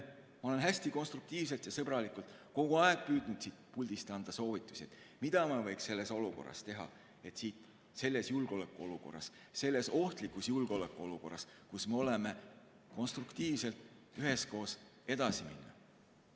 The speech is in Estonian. Ma olen hästi konstruktiivselt ja sõbralikult kogu aeg püüdnud siit puldist anda soovitusi, mida võiks selles olukorras teha, et selles ohtlikus julgeolekuolukorras, kus me oleme, konstruktiivselt üheskoos edasi minna.